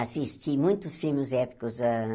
Assisti muitos filmes épicos. Hã